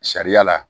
Sariya la